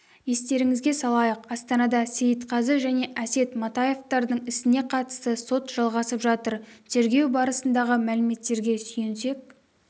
естеріңізге салайық астанада сейітқазы және әсет матаевтардың ісіне қатысты сот жалғасып жатыр тергеу барысындағы мәліметтерге сүйенсек